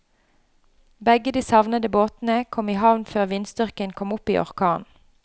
Begge de savnede båtene kom i havn før vindstyrken kom opp i orkan.